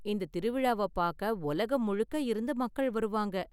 இந்தத் திருவிழாவ பார்க்க உலகம் முழுக்க இருந்து மக்கள் வருவாங்க.